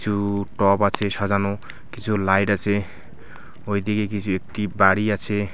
কিছু টব আছে সাজানো কিছু লাইট আছে ওইদিকে কিছু একটি বাড়ি আছে.